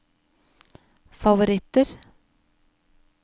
favoritter